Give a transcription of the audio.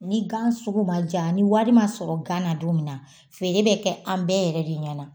Ni gan sugu ma ja ni walima sɔrɔ gan na don min na, feere bɛ kɛ an bɛɛ yɛrɛ de ɲɛna